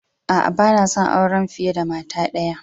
A'a, ban son aure fiyar da mata daya.